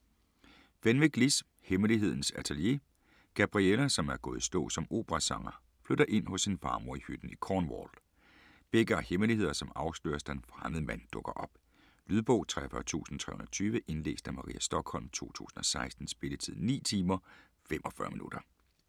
Fenwick, Liz: Hemmelighedernes atelier Gabriella, som er gået i stå som operasanger, flytter ind hos sin farmor i hytten i Cornwall. Begge har hemmeligheder, som afsløres, da en fremmed mand dukker op. Lydbog 43320 Indlæst af Maria Stokholm, 2016. Spilletid: 9 timer, 45 minutter.